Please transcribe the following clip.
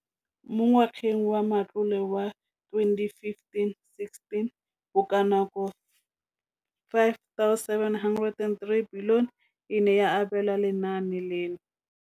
Mo ngwageng wa matlole wa 2015,16, bokanaka R5 703 bilione e ne ya abelwa lenaane leno.